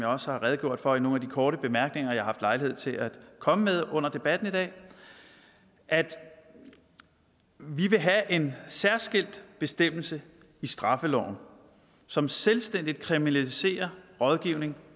også har redegjort for i nogle af de korte bemærkninger jeg har lejlighed til at komme med under debatten i dag er at vi vil have en særskilt bestemmelse i straffeloven som selvstændigt kriminaliserer rådgivning